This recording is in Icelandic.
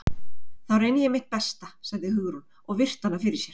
Þá reyni ég mitt besta- sagði Hugrún og virti hana fyrir sér.